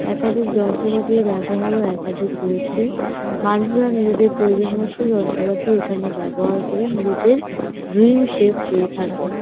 একাধিক যন্ত্রপাতি ও ব্যবহারও একাধিক রয়েছে। মানুষরা নিজেদের প্রয়োজনমত যন্ত্রপাতি এখানে ব্যবহার করে নিজেদের ড্রিম শেপ পেয়ে থাকে।